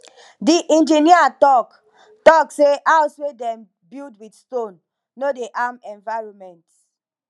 di engineer talk talk sey house wey dem build with stone no dey harm environment